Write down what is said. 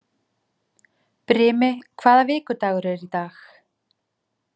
Brimi, hvaða vikudagur er í dag?